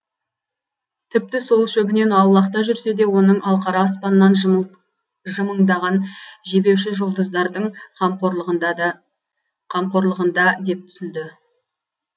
тіпті сол шөбінен аулақта жүрсе де оның алқара аспаннан жымыңдаған жебеуші жұлдыздардың қамқорлығында деп түсінді